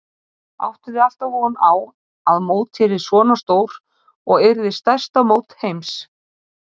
Áttuð þið alltaf von á að mótið yrði svona stór og yrði stærsta mót heims?